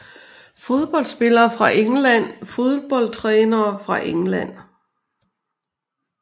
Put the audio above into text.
Fodboldspillere fra England Fodboldtrænere fra England